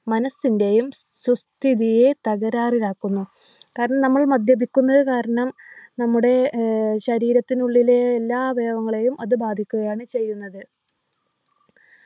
മനസ്സിൻ്റെയും സുസ്ഥിതിയെ തകരാറിലാക്കുന്നു കാരണം നമ്മൾ മദ്യപിക്കുന്നത് കാരണം നമ്മുടെ ഏർ ശരീരത്തിനുള്ളിലെ എല്ലാ അവയവങ്ങളെയും അത് ബാധിക്കുകയാണ് ചെയ്യുന്നത്